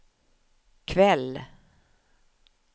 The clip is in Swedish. kväll